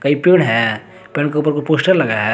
ये पेड़ है पेड़ के ऊपर कोई पोस्टर लगाया है।